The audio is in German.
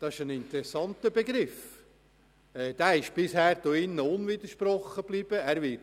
Das ist ein interessanter Begriff, der bisher hier unwidersprochen geblieben ist.